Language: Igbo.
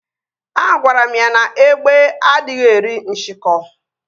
Agwara m ya na égbé adịghị eri nsikọ